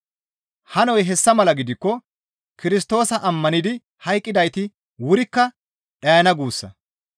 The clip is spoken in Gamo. Hanoy hessa mala gidikko Kirstoosa ammanidi hayqqidayti wurikka dhayda guussa.